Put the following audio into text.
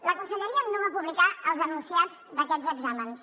la conselleria no va publicar els enunciats d’aquests exàmens